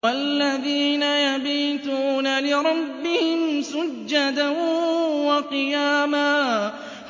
وَالَّذِينَ يَبِيتُونَ لِرَبِّهِمْ سُجَّدًا وَقِيَامًا